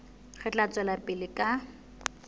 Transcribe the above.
re tla tswela pele ka